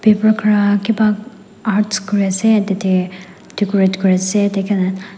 kipa arts kuriase tate decorate kuriase--